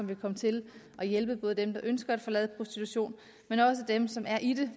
vil komme til at hjælpe dem der ønsker at forlade prostitution men også dem som er i det